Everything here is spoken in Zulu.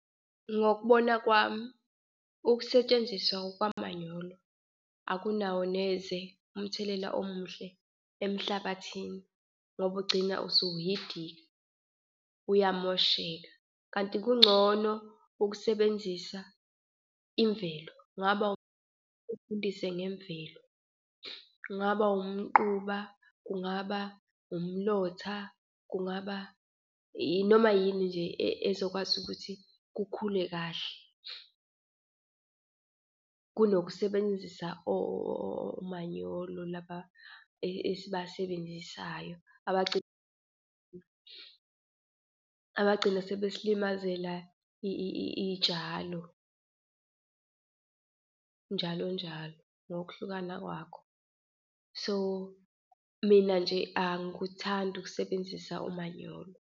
Ngokubona kwami, ukusetshenziswa kwamanyolo akunawo neze umthelela omuhle emhlabathini ngoba ugcina usuhidika, uyamosheka. Kanti kungcono ukusebenzisa imvelo kungaba uvundise ngemvelo, kungaba umquba, kungaba umlotha, kungaba noma yini nje ezokwazi ukuthi kukhule kahle kunokusebenzisa omanyolo laba esibasebenzisayo. Abagcine sebesilimazela iy'tshalo njalo njalo ngokuhlukana kwakho. So mina nje angikuthandi ukusebenzisa umanyolo.